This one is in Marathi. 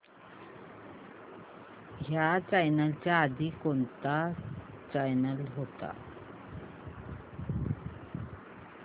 ह्या चॅनल च्या आधी कोणता चॅनल होता